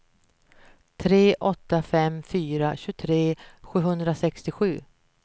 tre åtta fem fyra tjugotre sjuhundrasextiosju